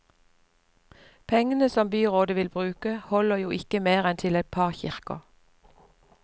Pengene som byrådet vil bruke holder jo ikke mer enn til et par kirker.